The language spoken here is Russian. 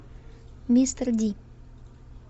мистер ди